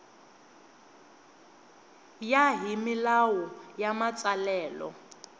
ya hi milawu ya matsalelo